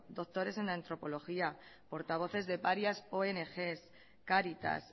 doctores en antropología portavoces de varias ongs caritas